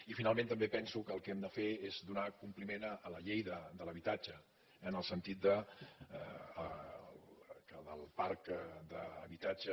i finalment també penso que el que hem de fer és donar compliment a la llei de l’habitatge en el sentit que del parc d’habitatge